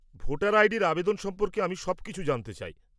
Voter আইডির আবেদন সম্পর্কে আমি সবকিছু জানতে চাই।